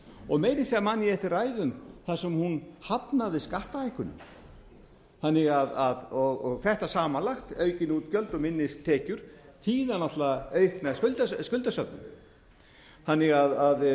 og meira að segja man ég eftir ræðum þar sem hún hafnaði skattahækkunum þetta samanlagt aukin útgjöld og minni tekjur þýða aukna skuldasöfnun þannig að